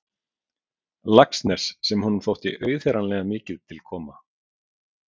Laxness sem honum þótti auðheyranlega mikið til koma.